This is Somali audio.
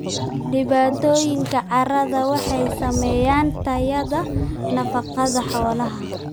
Dhibaatooyinka carradu waxay saameeyaan tayada nafaqada xoolaha.